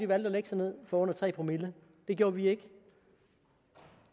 valgte at lægge sig ned for under tre promille det gjorde vi ikke